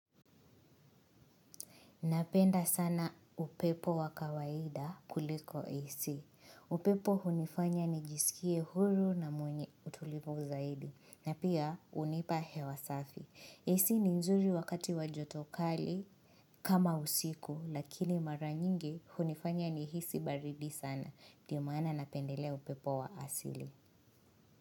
Napenda sana upepo wa kawaida kuliko AC. Upepo hunifanya nijiskie huru na mwenye utulivu zaidi. Na pia hunipa hewa safi. AC ni nzuri wakati wa joto kali kama usiku. Lakini mara nyingi hunifanya nihisi baridi sana. Ndio maana napendelea upepo wa asili.